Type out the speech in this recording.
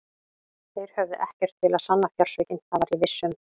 Þeir höfðu ekkert til að sanna fjársvikin, það var ég viss um.